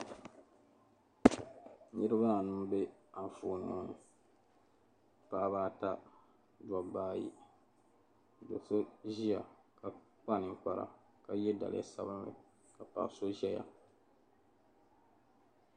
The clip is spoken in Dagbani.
Niriba anu m-be anfooni ŋɔ ni. Paɣiba ata dɔbba ayi do' so ʒia ka kpa niŋkpara ka ye daliya sabilinli paɣa so zaya.